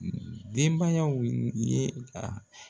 Denbayaw ye ka